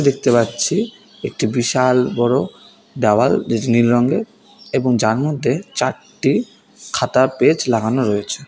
দেখতে পাচ্ছি একটি বিশাল বড়ো দাওয়াল ডিজ নীল রঙের এবং জালনাতে চারটি খাতার পেজ লাগানো রয়েছে।